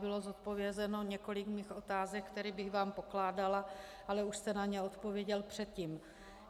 Bylo zodpovězeno několik mých otázek, které bych vám pokládala, ale už jste na ně odpověděl předtím.